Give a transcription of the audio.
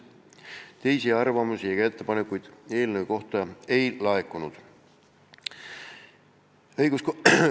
Teisi arvamusi ega ettepanekuid eelnõu kohta ei laekunud.